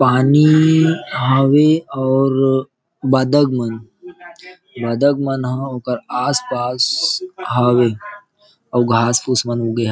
पानी हावे और बदक मन ह ओकर आस-पास हावे अउ घास-फुस मन उगे हे।